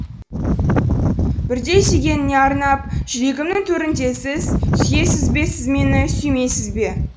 бірде сүйгеніне арнап жүрегімнің төріндесіз сүйесіз бе сіз мені сүймейсіз бе